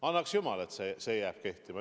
Annaks jumal, et see jääb kehtima.